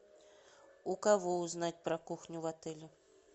у кого узнать про кухню в отеле